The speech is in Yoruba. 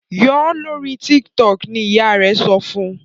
yọ lórí TikTok! ni ìyá rè so fún